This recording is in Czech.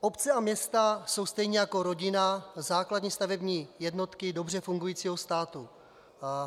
Obce a města jsou stejně jako rodina základní stavební jednotky dobře fungujícího státu.